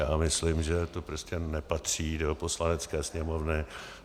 Já myslím, že to prostě nepatří do Poslanecké sněmovny.